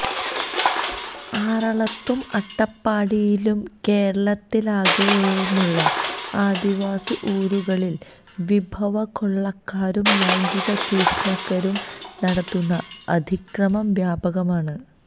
ആറളത്തും അട്ടപ്പാടിയിലും കേരളത്തലാകെയുമുള്ള ആദിവാസി ഊരുകളില് വിഭവകൊള്ളക്കാരും ലൈംഗിക ചൂഷകരും നടത്തുന്ന അതിക്രമം വ്യാപകമാണ്